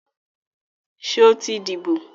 Sọ ti díbò?